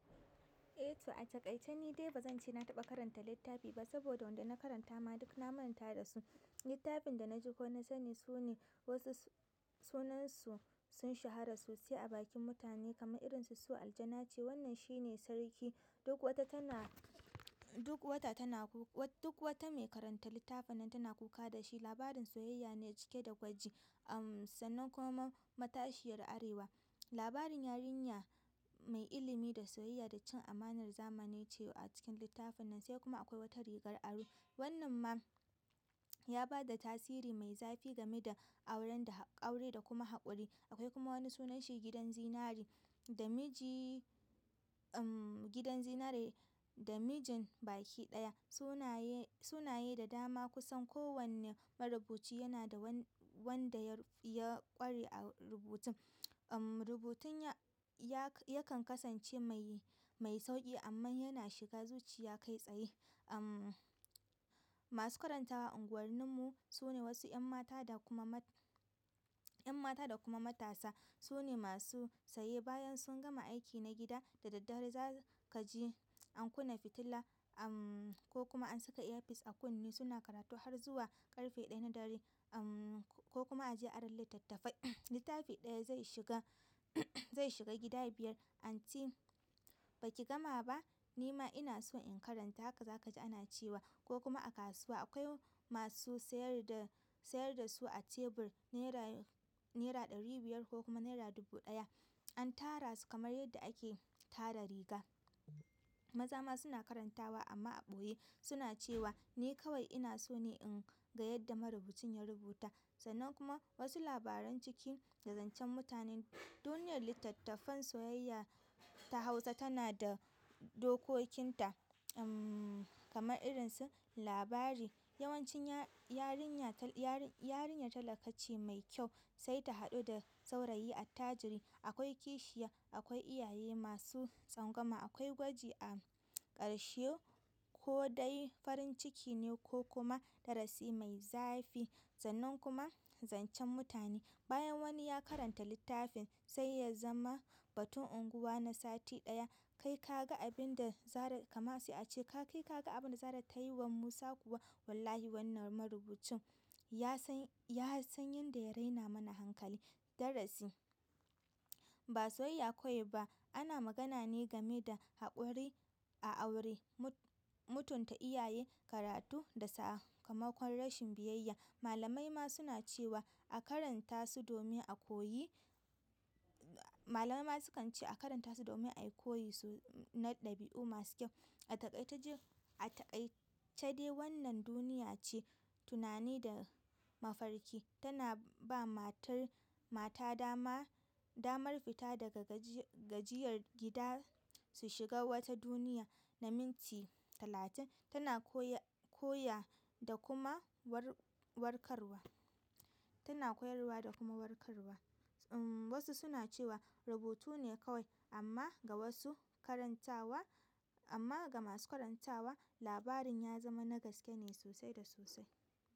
Eh to a taƙaice ni dai ba zan ce na taɓa karanta littafi ba saboda wanda na karanta ma duk na manta da su. Littafin da na ji ko na sani sune wasu sunansu sun shahara sosai a bakin mutane kamar irin su "Su aljanahce". Wannan shi ne sarki duk wata tana duk wata tana duk wata mai karanta littafin nan tana kuka da shi labarin soyayya ne cike da gwaji ahm sannan kuma matashiyar arewa labarin yarinya mai ilimi da soyayya da cin amanar zamani ce a cikin littafin nan sai kuma akwai wata rigar aro. Wannan ma ya ba da tasiri mai zafi game da auren da, aure da kuma haƙuri. Akwai kuma wani sunanshi gidan zinare da miji, umm, gidan zinare da mijin bakiɗaya. Sunaye, sunaye da dama kusan kowanne marubuci yana da wanda wanda ya ƙware a rubutun. Umm, rubutun ya, ya kan kasance mai, mai sauƙi amman yana shiga zuciya kai tsaye. Umm, masu karantawa a unguwarninmu su ne wasu ƴan mata da kuma mat, ƴanmata da kuma matasa sune masu saye bayan sun gama aiki na gida da daddare za ka ji an kunna fitila uhm ko kuma an saka earpiece a kunne suna karatu har zuwa ƙarfe ɗaya na dare uhm ko kuma a je a ari littattafai littafi ɗaya zai shiga zai shiga gida biyar anti ba ki gama ba ni ma ina so in karanta haka za ka ji ana cewa ko kuma a kasuwa akwai masu sayar da sayar da su a tebur naira naira ɗari biyar ko kuma naira dubu ɗaya. An tara su kamar yadda ake tara riga. Maza ma suna karantawa amma a ɓoye. Suna cewa ni kawai ina so ne in ga yadda marubucin ya rubuta sannan kuma wasu labaran ciki da zancen mutane duniyar littattafan soyayya ta hausa tana da dokokinta ehm kamar irin su labari yawancin ya yarinya ya yarinya talakace mai kyau sai ta haɗu da saurayi attajiri umm, rubutun ya, ya kan kasance mai, mai sauƙi amman yana shiga zuciya kai tsaye. Umm, ko dai farin ciki ne ko kuma darasi mai zafi sannan kuma zancen mutane. Bayan wani ya karanta littafin sai ya zama batun unguwa na sati ɗaya. Kai ka ga abunda zara kama sai a ce kai ka ga abin da zara ta yi wa musa kuwa wallahi wannan marubucin ya san ya san yanda ya raina mana hankali darasi, ba soyayya kawai ba. Ana magana ne gama da haƙuri a aure mutunta iyaye karatu da sakamakon rashin biyayya malamai ma suna cewa a karanta su domin a koyi malamai ma sukan ce a karanta su domin ai koyi na ɗabi'u masu kyau a takaice ji, a takaice dai wannan duniya ce tunani da mafarki. Tana ba matar mata dama, damar fita daga gajiyar gida su shiga wata duniya na minti talatin. Tana koya, koya da kuma warkarwa. Tana koyarwa da kuma warkarwa. Umm, wasu suna cewa rubutu ne kawai amma ga wasu karantawa, amma ga masu karantawa labarin ya zama na gaske ne sosai da sosai.